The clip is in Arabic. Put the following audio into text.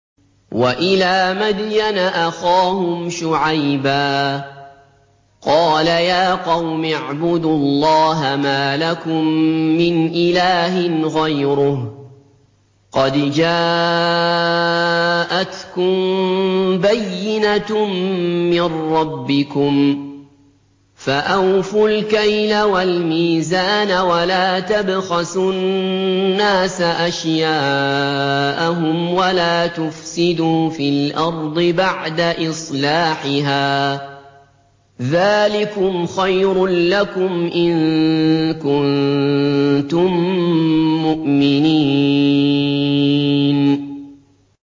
وَإِلَىٰ مَدْيَنَ أَخَاهُمْ شُعَيْبًا ۗ قَالَ يَا قَوْمِ اعْبُدُوا اللَّهَ مَا لَكُم مِّنْ إِلَٰهٍ غَيْرُهُ ۖ قَدْ جَاءَتْكُم بَيِّنَةٌ مِّن رَّبِّكُمْ ۖ فَأَوْفُوا الْكَيْلَ وَالْمِيزَانَ وَلَا تَبْخَسُوا النَّاسَ أَشْيَاءَهُمْ وَلَا تُفْسِدُوا فِي الْأَرْضِ بَعْدَ إِصْلَاحِهَا ۚ ذَٰلِكُمْ خَيْرٌ لَّكُمْ إِن كُنتُم مُّؤْمِنِينَ